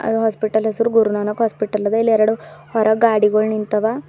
ಇದು ಹಾಸ್ಪಿಟಲ್ ಹೆಸರು ಗುರುನಾನಕ್ ಹಾಸ್ಪಿಟಲ್ ಅದ ಇಲ್ಲಿ ಎರಡ್ ಹೊರಗ್ ಗಾಡಿಗುಳ್ ನಿಂತವ.